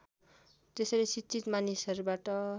त्यसैले शिक्षित मानिसहरूबाट